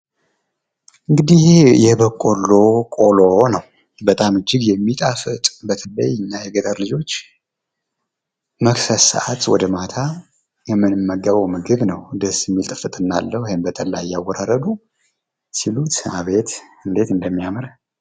እንግዲህ የበቆሎ ቆሎ ነው። በጣም እጅግ የሚጣፍጥ በተለይ እኛ የገጠር ልጆች መክሰስ ሰዓት ወደ ማታ የምንመገበው ምግብ ነው። ደስ የሚል ጥፍጥና አለው። ይህም በጠላ እያወራረዱ ሲሉት አቤት እንዴት እንደሚያምር።